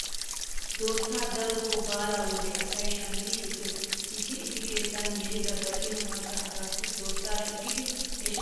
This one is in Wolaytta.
Dorssaa daroto baalaa wode asay shammidi shukkees. Issi issi keettan yelida gacino maccaa asaassi durssaa shukkidi he shukkin kiyida suuttaa uyanawu immoosona.